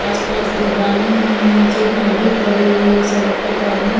आस-पास दीवालें हैं नीचे एक नली पड़ी हुई है सड़क पे पानी --